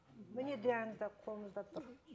міне диагноз да қолымызда тұр